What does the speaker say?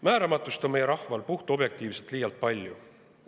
Määramatust on meie rahval puhtobjektiivselt liialt palju.